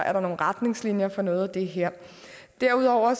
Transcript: er nogle retningslinjer for noget af det her derudover